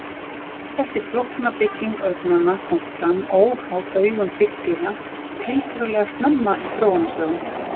Þessi flókna bygging augnanna kom fram óháð augum hryggdýra tiltölulega snemma í þróunarsögunni.